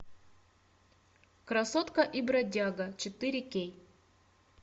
красотка и бродяга четыре кей